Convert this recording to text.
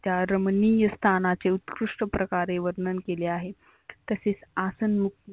त्या रमनीय स्थानाचे उत्कृष्ट प्रकारे वर्णन केले आहेत. तसेच आसन मुक्त